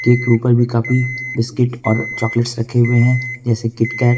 Cake के ऊपर भी काफी बिस्कुट और चॉकलेट रखे हुए हैं जैसे किटकैट ।